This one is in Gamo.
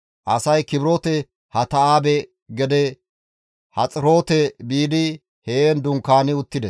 Asay Kibroote-Hatta7aabe gede Haxiroote biidi heen dunkaani uttides.